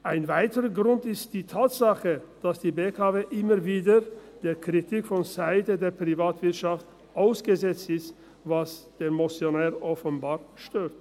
Ein weiterer Grund ist die Tatsache, dass die BKW immer wieder der Kritik vonseiten der Privatwirtschaft ausgesetzt ist, was den Motionär offenbar stört.